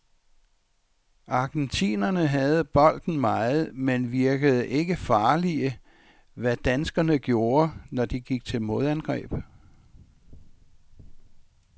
Argentinerne havde bolden meget, men virkede ikke farlige, hvad danskerne gjorde, når de gik til modangreb.